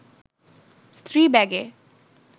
স্ত্রী ব্যাগে